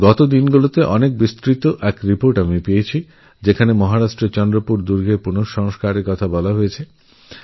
কিছুদিন আগে আমি একটা বড়োরিপোর্ট পেয়েছি যেখানে মহারাষ্ট্রের চন্দ্রপুর কেল্লার নবরূপায়ণের বর্ণনা রয়েছে